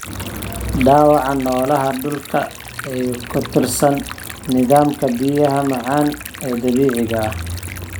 Dhaawaca noolaha dhulka ee ku tiirsan nidaamka biyaha macaan ee dabiiciga ah.